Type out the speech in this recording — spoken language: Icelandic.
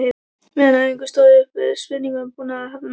Meðan á æfingum stóð kom upp spurningin um búnað áhafnarinnar.